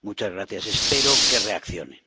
Muchas gracias y espero que reaccione.